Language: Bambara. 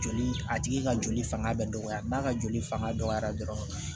Joli a tigi ka joli fanga bɛ dɔgɔya n'a ka joli fanga dɔgɔyara dɔrɔn